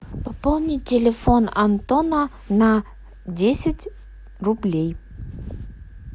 пополнить телефон антона на десять рублей